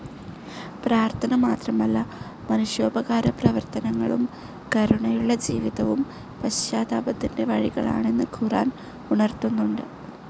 പ്രാർത്ഥന മാത്രമല്ല, മനുഷ്യോപകാര പ്രവർത്തനങ്ങളും കരുണയുള്ള ജീവിതവും പശ്ചാത്താപത്തിൻ്റെ വഴികളാണെന്ന് ഖുർആൻ ഉണർത്തുന്നുണ്ട്.